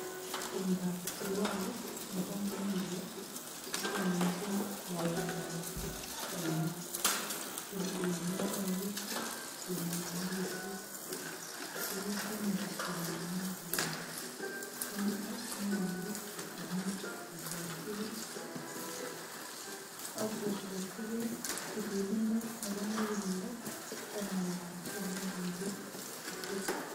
Tumdab Diwali nebo mohindik kotononjin ngalekap lapoiyet kemong en urityet. Tuguk che miach kemong'ungnen che yachen. Ko nito neyoe biik komuch kobwotyige ak kobwotyige tilindo nebo muguleldo en ng'alekab tomirmiryet ne tilil.